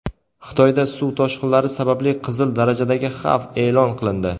Xitoyda suv toshqinlari sababli "qizil darajadagi xavf" e’lon qilindi.